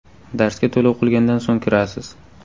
Darsga to‘lov qilgandan so‘ng kirasiz.